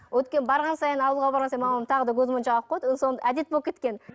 өйткені барған сайын ауылға барған сайын мамам тағы да көзмоншақ алып қояды әдет болып кеткен